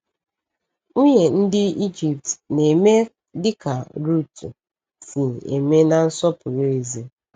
Nwunye ndị Ịjipt na-eme dịka Rutu si eme na nsọpụrụ ezi?